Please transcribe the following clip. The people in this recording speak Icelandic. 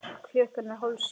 Klukkan er hálf sjö.